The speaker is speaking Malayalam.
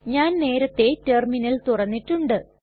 ഞാൻ നേരത്തെ ടെർമിനൽ തുറന്നിട്ടുണ്ട്